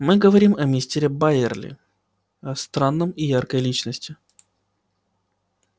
мы говорим о мистере байерли странном и яркой личности